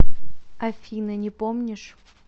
афина не помнишь